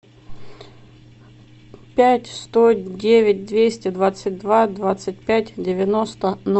пять сто девять двести двадцать два двадцать пять девяносто